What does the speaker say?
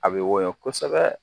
A bɛ wɔyɔ kosɛbɛ